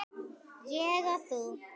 Ég og þú.